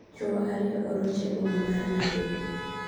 Chwo ariyo oroch eboma mar Nairobi.